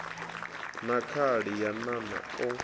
na khali ya nan o